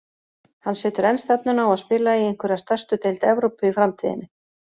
Hann setur enn stefnuna á að spila í einhverri af stærstu deild Evrópu í framtíðinni.